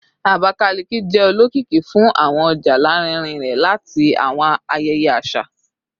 Abakalaki jẹ olokiki fun awọn ọja larinrin rẹ ati awọn ayẹyẹ aṣa